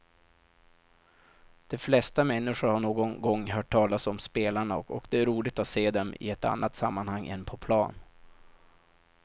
De flesta människor har någon gång hört talas om spelarna och det är roligt att se dem i ett annat sammanhang än på plan.